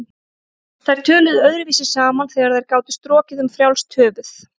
Þær töluðu öðruvísi saman þegar þær gátu strokið um frjálst höfuð.